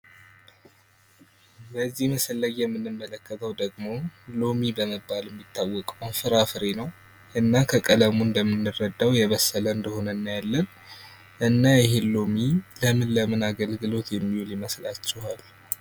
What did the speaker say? በዚህ ምስል ላይ የምንመለከተው ደግሞ ሎሚ በመባል የሚታወቀው ፍራፍሬ ነው። እና ከቀለሙ እንደምንረዳው የበሰለ እንደሆነ እናያለን ።እና ይሄ ሎሚ ለምን ለምን አገልግሎት የሚውል ይመስላችኋል?